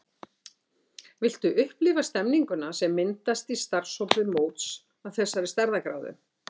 Viltu upplifa stemmninguna sem myndast í starfshópi móts af þessari stærðargráðu?